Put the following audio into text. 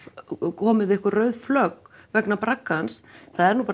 komið einhver rauð flögg vegna braggans það er nú bara